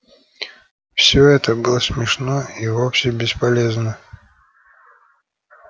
всё это было смешно и вовсе бесполезно